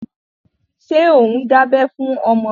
Ṣé ò ń dábẹ́ fún ọmọ rẹ?